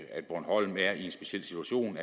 bornholm er i en speciel situation